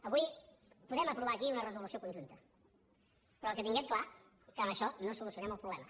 avui podem aprovar aquí una resolució conjunta però que tinguem clar que amb això no solucionem el problema